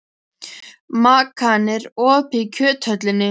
Makan, er opið í Kjöthöllinni?